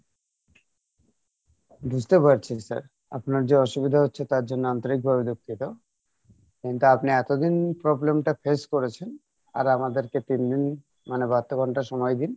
বুঝতে পারছি sir আপনার যে অসুবিধা হচ্ছে তার জন্য আন্তরিকভাবে দুঃখিত কিন্তু আপনি এতদিন problem টা face করেছেন আর আমাদেরকে তিনদিন মানে বাহাত্তর ঘন্টা সময় দিন